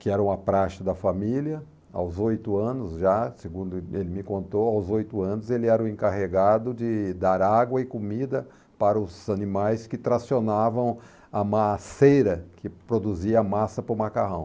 que era uma praxe da família, aos oito anos já, segundo ele me contou, aos oito anos ele era o encarregado de dar água e comida para os animais que tracionavam a maceira que produzia a massa para o macarrão.